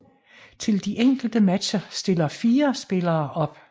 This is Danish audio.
Til de enkelte matcher stiller fire spillere op